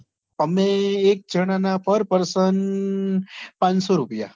અમે એક જણા ના par person પાનસો રૂપિયા